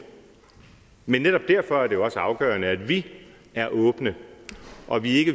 men netop derfor er det også afgørende at vi er åbne og at vi